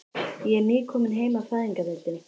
Ég er nýkomin heim af Fæðingardeildinni.